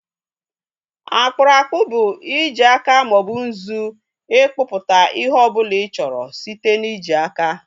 Akpụrụ akpụ bụ i ji aja maọbụ nzu ịkpụpụta ihe ọbụla ị chọrọ site na ị ji aka